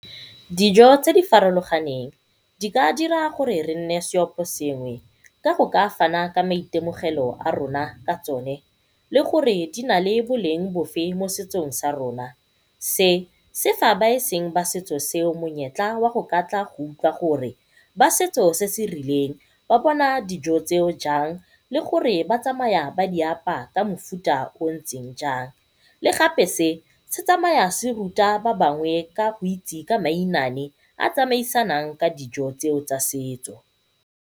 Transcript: Dijo tse di farologaneng di ka dira gore re nne seoposengwe ka go ka fana ka maitemogelo a rona ka tsone. Le gore di na le boleng bofe mo setsong sa rona. Se se fa ba eseng sa setso se monyetla wa go tla go utlwa gore ba setso se se rileng ba bona dijo tseo jang, le gore ba tsamaya ba di apaya ka mofuta o o ntseng jang. Le gape se, se tsamaya se ruta ba bangwe ka go itse ka mainane a a tsamaisanang ka dijo tseo tsa setso.